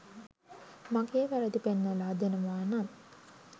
මගේ වැරදි පෙන්නලා දෙනවා නම්.